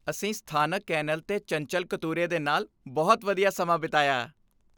ਅਸੀਂ ਸਥਾਨਕ ਕੇਨਲ 'ਤੇ ਚੰਚਲ ਕਤੂਰੇ ਦੇ ਨਾਲ ਬਹੁਤ ਵਧੀਆ ਸਮਾਂ ਬਿਤਾਇਆ।